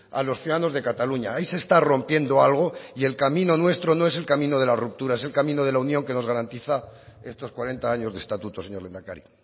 a los ciudadanos de cataluña ahí se está rompiendo algo y el camino nuestro no es el camino de la ruptura es el camino de la unión que nos garantiza estos cuarenta años de estatuto señor lehendakari